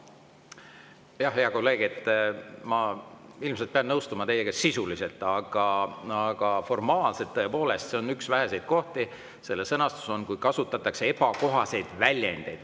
Jah, hea kolleeg, ma ilmselt pean sisuliselt teiega nõustuma, aga formaalselt, tõepoolest, selline on üks väheseid kohti, kus sõnastus on, et kasutatakse ebakohaseid väljendeid.